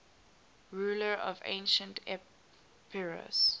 rulers of ancient epirus